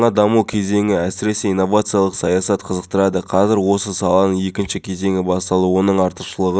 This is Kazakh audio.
айтушыға ауыстыруды жоспарлап отыр уағыз айтушылар қажет болған жағдайда ғана уағыз айтады дейді министрлік мамандары